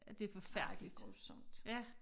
Ja det forfærdelig grusomt